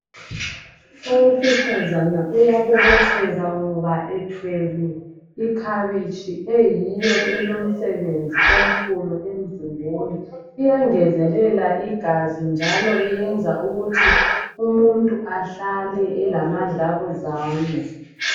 Owesifazana uyabobotheka ngoba ethwele ikhabitshi eyiyo elomsebenzi omkhulu emzimbeni iyangezelela igazi njalo iyenza ukuthi umuntu ahlale elamadlabuzane.